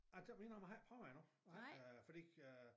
Ej det må jeg indrømme har ikke prøvet endnu nej øh fordi øh